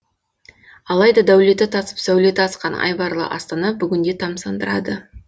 алайда дәулеті тасып сәулеті асқан айбарлы астана бүгінде тамсандырады